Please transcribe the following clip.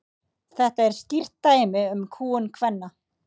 þetta er skýrt dæmi um kúgun kvenna